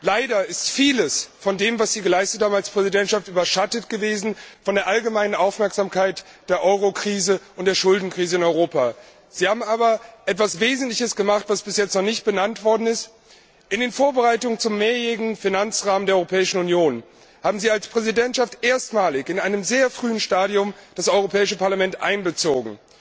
Leider ist vieles von dem, was Sie als Präsidentschaft geleistet haben, von der allgemeinen Aufmerksamkeit für die Eurokrise und die Schuldenkrise in Europa überschattet gewesen. Sie haben aber etwas Wesentliches gemacht, was bis jetzt noch nicht genannt worden ist In den Vorbereitungen zum mehrjährigen Finanzrahmen der Europäischen Union haben Sie als Präsidentschaft erstmalig in einem sehr frühen Stadium das Europäische Parlament einbezogen.